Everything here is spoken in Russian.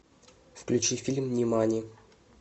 включи фильм нимани